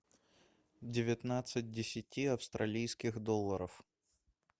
девятнадцать десяти австралийских долларов